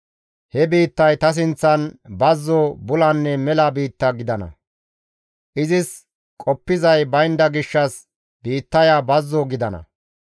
He biittay ta sinththan bazzo, bulanne mela biitta gidana; izis qoppizay baynda gishshas biittaya bazzo gidana.